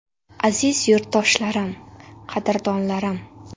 Aziz yurtdoshlarim, qadrdonlarim!